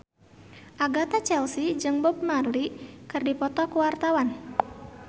Agatha Chelsea jeung Bob Marley keur dipoto ku wartawan